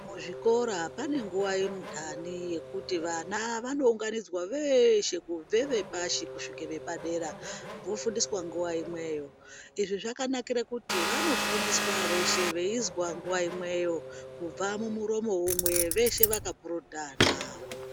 Muzvikora pane nguva yendaani yekuti vana vanounganidzwa veeshe kubve vepashi kusvike vepadera vofundiswe nguva imweyo, izvi zvakanakire kuti vanofundiswa veshee veizwa nguva imweyo kubva mumuromo umwe veshe vakapurutana.